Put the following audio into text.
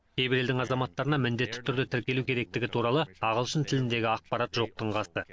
кейбір елдің азаматтарына міндетті түрде тіркелу керектігі туралы ағылшын тіліндегі ақпарат жоқтың қасы